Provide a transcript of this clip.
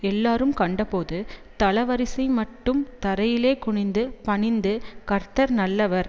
எல்லாரும் கண்டபோது தளவரிசைமட்டும் தரையிலே குனிந்து பணிந்து கர்த்தர் நல்லவர்